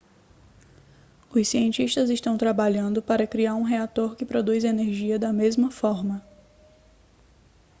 os cientistas estão trabalhando para criar um reator que produz energia da mesma forma